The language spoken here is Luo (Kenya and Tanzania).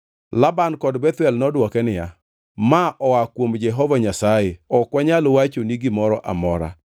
Laban kod Bethuel nodwoke niya, “Ma-oa kuom Jehova Nyasaye ok wanyal wachoni gimoro amora.